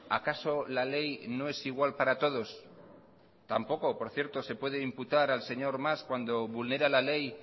acaso la ley no es igual para todos tampoco por cierto se puede imputar al señor mas cuando vulnera la ley